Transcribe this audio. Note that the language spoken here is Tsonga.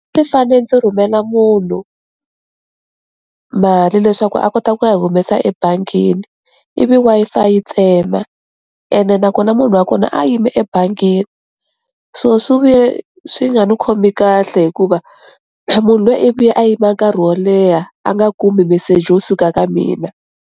fane ndzi rhumela munhu mali leswaku a kota ku ya humesa ebangini ivi Wi-Fi yi tsema ene nakona munhu wa kona a yime ebangini, so swi vuye swi nga ni khomi kahle hikuva munhu lwiya i ve a yima nkarhi wo leha a nga kumi message wo suka ka mina.